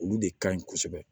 Olu de ka ɲi kosɛbɛ